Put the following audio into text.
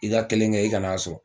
I ka kelen kɛ i ka n'a sɔrɔ